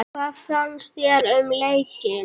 Hvað fannst þér um leikinn?